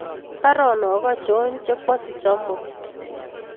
Baronok achon chekwosich amut